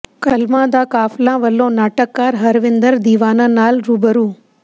ਕਲਮਾਂ ਦਾ ਕਾਫਲਾ ਵਲੋਂ ਨਾਟਕਕਾਰ ਹਰਵਿੰਦਰ ਦੀਵਾਨਾ ਨਾਲ ਰੂਬਰੂ